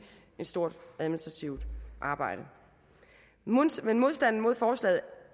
et stort administrativt arbejde men modstanden mod forslaget